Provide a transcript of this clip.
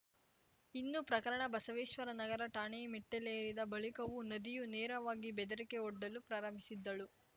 ಇನ್ನು ಪ್ರಕರಣ ಬಸವೇಶ್ವರ ನಗರ ಠಾಣೆ ಮೆಟ್ಟಿಲೇರಿದ ಬಳಿಕವೂ ನದಿಯೂ ನೇರವಾಗಿ ಬೆದರಿಕೆವೊಡ್ಡಲು ಪ್ರಾರಂಭಿಸಿದ್ದಳು